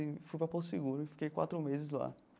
E fui para Porto Seguro e fiquei quatro meses lá.